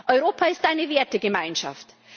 Europa ist eine Wertegemeinschaft.